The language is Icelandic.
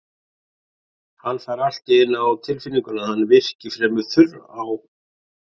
Hann fær allt í einu á tilfinninguna að hann virki fremur þurr á